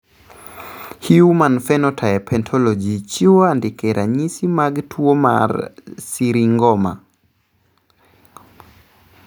Human Phenotype Ontology chiwo andike ranyisi mag tuwo mar Syringoma.